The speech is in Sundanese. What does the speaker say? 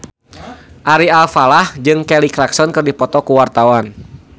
Ari Alfalah jeung Kelly Clarkson keur dipoto ku wartawan